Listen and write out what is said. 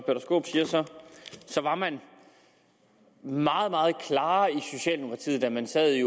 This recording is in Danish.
var man meget meget klarere i socialdemokratiet da man sad i